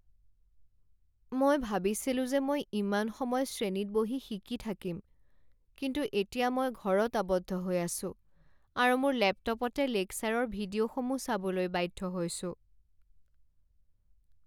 মই ভাবিছিলো যে মই ইমান সময় শ্ৰেণীত বহি শিকি থাকিম, কিন্তু এতিয়া মই ঘৰত আবদ্ধ হৈ আছো আৰু মোৰ লেপটপতে লেকচাৰৰ ভিডিঅ'সমূহ চাবলৈ বাধ্য হৈছোঁ।